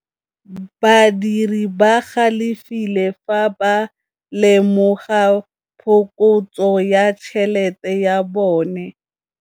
Badiri ba galefile fa ba lemoga phokotsô ya tšhelête ya bone.